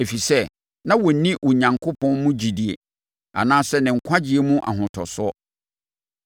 ɛfiri sɛ, na wɔnni Onyankopɔn mu gyidie anaasɛ ne nkwagyeɛ mu ahotosoɔ.